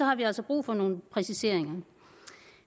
har vi altså brug for nogle præciseringer